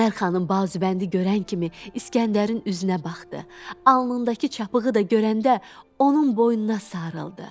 Qəmər xanım bazubəndi görən kimi İskəndərin üzünə baxdı, alnındakı çapığı da görəndə onun boynuna sarıldı.